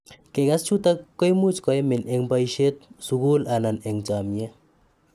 Kiigas chutok koimuch koimiin eng baishet, sugul anan eng chamyet